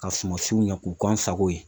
Ka sumasiw ɲɛ k'u k'an sako ye.